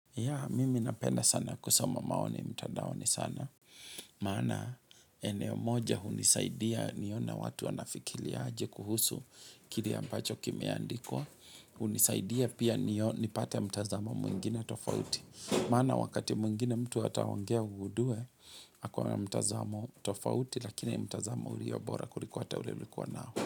Ya, mimi napenda sana kusoma maoni mtandaoni sana. Maana, eneo moja hunisaidia nione watu wanafikiria aje kuhusu kile ambacho kimeandikwa. Hnisaidia pia nio nipate mtazamo mwingine tofauti. Maana, wakati mwingine mtu ataongea ugundue ako na mtazamo tofauti, lakini mtazamo ulio bora kuliko hata ule ulikuwa nao.